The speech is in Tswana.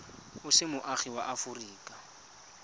o se moagi wa aforika